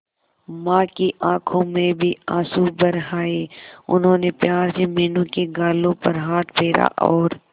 मां की आंखों में भी आंसू भर आए उन्होंने प्यार से मीनू के गालों पर हाथ फेरा और